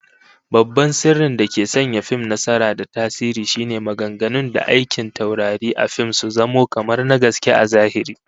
Babban sirrin dake sanya fim nasara da tasiri shine maganganu da aikin taurari a fim su zamo kamar na gaske a zahiri